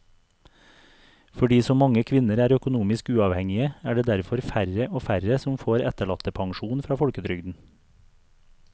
Fordi så mange kvinner er økonomisk uavhengige er det derfor færre og færre som får etterlattepensjon fra folketrygden.